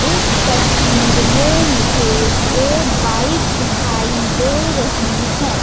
इस तसवीर में मुझे एक बाइक दिखाई दे रही है।